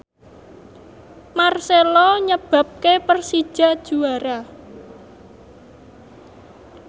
marcelo nyebabke Persija juara